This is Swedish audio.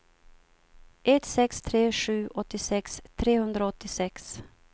ett sex tre sju åttiosex trehundraåttiosex